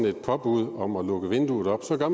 et påbud om at lukke vinduet op så gør